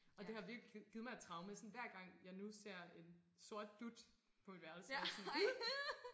Og det har virkelig givet mig et traume sådan hver gang jeg nu ser en sort dut på mit værelse er jeg sådan